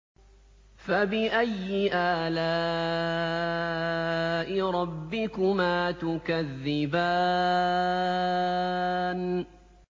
فَبِأَيِّ آلَاءِ رَبِّكُمَا تُكَذِّبَانِ